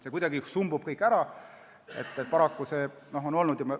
See kuidagi sumbub kõik ära, paraku on see nii olnud.